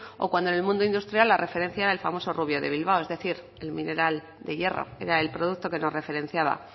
o cuando en el mundo industrial la referencia el famoso rubio de bilbao el mineral de hierro era el producto que nos referenciaba